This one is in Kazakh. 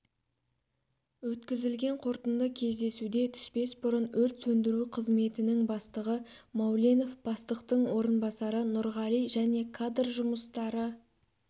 өткізілген қорытынды кездесуде түспес бұрын өрт сөндіру қызметінің бастығы мауленов бастықтың орынбасары нұрғали және кадр жұмыстары